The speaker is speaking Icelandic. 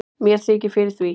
mér þykir fyrir því